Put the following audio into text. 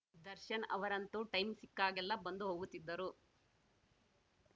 ದರ್ಶನ್‌ ಅವರಂತೂ ಟೈಂ ಸಿಕ್ಕಾಗೆಲ್ಲಾ ಬಂದು ಹೋಗುತ್ತಿದ್ದರು